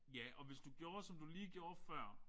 Ja og hvis du gjorde som du lige gjorde før